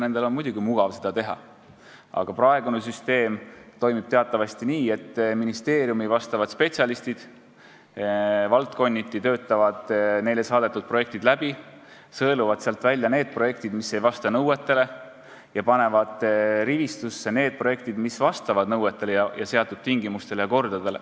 Nendel on muidugi mugav seda teha, aga praegune süsteem toimib teatavasti nii, et ministeeriumi spetsialistid töötavad valdkonniti neile saadetud projektid läbi, sõeluvad välja need, mis ei vasta nõuetele, ja panevad rivistusse need, mis vastavad nõuetele ja seatud tingimustele ja kordadele.